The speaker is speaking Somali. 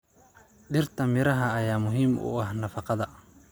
Dhirta miraha ayaa muhiim u ah nafaqada.